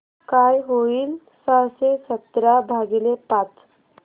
काय होईल सहाशे सतरा भागीले पाच